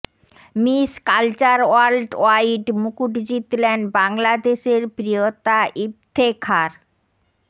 miss Culture World Wide মুকুট জিতলেন বাংলাদেশের প্রিয়তা ইফতেখার